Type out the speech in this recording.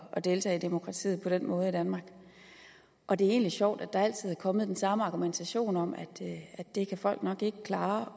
at deltage i demokratiet på den måde i danmark og det er egentlig sjovt at der altid er kommet den samme argumentation om at det kan folk nok ikke klare